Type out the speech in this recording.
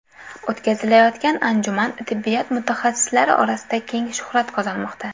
O‘tkazilayotgan anjuman tibbiyot mutaxassislari orasida keng shuhrat qozonmoqda.